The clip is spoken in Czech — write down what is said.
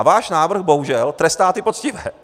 A váš návrh bohužel trestá ty poctivé.